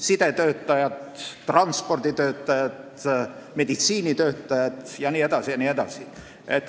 sidetöötajaid, transporditöötajaid, meditsiinitöötajaid jne.